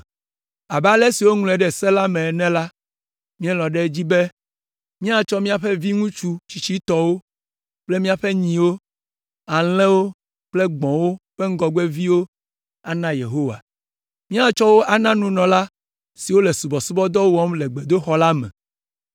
“Abe ale si woŋlɔe ɖe Se la me ene la, míelɔ̃ ɖe edzi be míatsɔ míaƒe viŋutsu tsitsitɔwo kple míaƒe nyiwo, alẽwo kple gbɔ̃wo ƒe ŋgɔgbeviwo ana Yehowa. Míatsɔ wo na nunɔla siwo le subɔsubɔdɔ wɔm le gbedoxɔ la me.